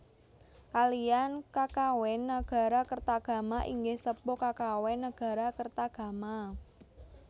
Kaliyan kakawin Nagarakretagama inggih sepuh kakawin Nagarakretagama